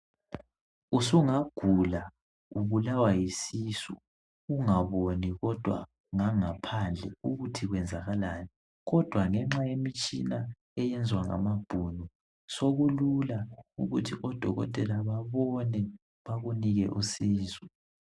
Usungagula ubulawa yisisu ungaboni kodwa ngangaphandle ukuthi kwenzakalani kodwa ngenxa yemitshina eyenzwa ngamabhunu sokulula ukuthi odokotela babone bakunike usizo.